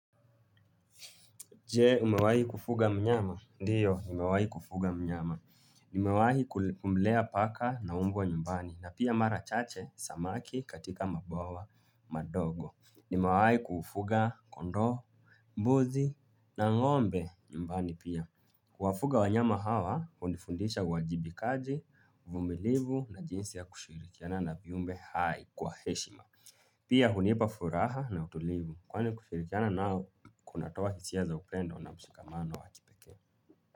Je, umewahi kufuga mnyama? Ndiyo, nimewahi kufuga mnyama. Nimewahi kumlea paka na mbwa nyumbani na pia mara chache samaki katika mabawa madogo. Niwewahi kufuga, kondoo, mbuzi na ng'ombe nyumbani pia kuwafuga wanyama hawa, hunifundisha uwajibikaji, uvumilivu na jinsi ya kushirikiana na viumbe hai kwa heshima. Pia hunipa furaha na utulivu kwani kushirikiana nao kunatoa hisia za upendo na msikamano wa kipekee.